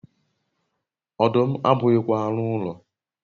ọdụm abụghịkwa anụ ụlọ